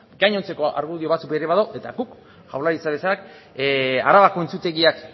gainontzeko argudio batzuk ere badaude eta guk jaurlaritza bezala arabako entzutegiak